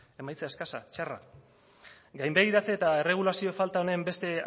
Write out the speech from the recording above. emaitza eskasa txarra gainbegiratze eta erregulazio falta honen beste